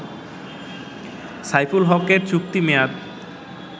সাইফুল হকের চুক্তির মেয়াদ